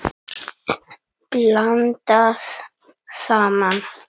Blandað saman.